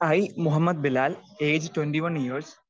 speaker 2 I Muhammad Bilal age twenty one years